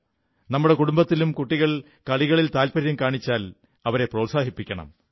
നമ്മുടെ കുടുംബത്തിലും കുട്ടികൾ കളികളിൽ താൽപര്യം കാണിച്ചാൽ അവരെ പ്രോത്സാഹിപ്പിക്കണം